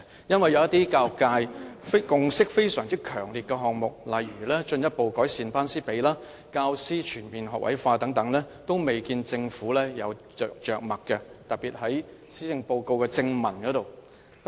因為一些得到教育界強烈共識的項目，例如進一步改善"班師比"、教師全面學位化等，均未見政府有着墨，特別是在施政報告的正文內。